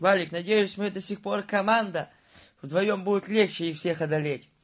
валик надеюсь мы до сих пор команда вдвоём будет легче их всех одолеть